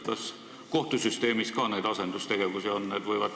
Kas kohtusüsteemis ka asendustegevusi on?